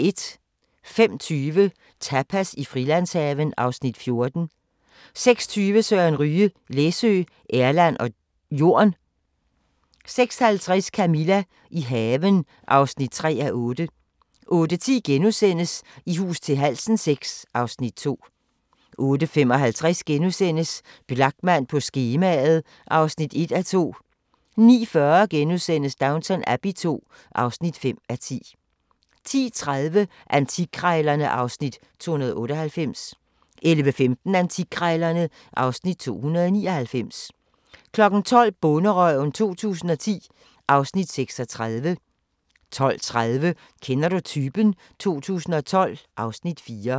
05:20: Tapas i Frilandshaven (Afs. 14) 06:20: Søren Ryge: Læsø, Erland og Jorn 06:50: Camilla – i haven (3:8) 08:10: I hus til halsen VI (Afs. 2)* 08:55: Blachman på skemaet (1:2)* 09:40: Downton Abbey II (5:10)* 10:30: Antikkrejlerne (Afs. 298) 11:15: Antikkrejlerne (Afs. 299) 12:00: Bonderøven 2010 (Afs. 36) 12:30: Kender du typen? 2012 (Afs. 4)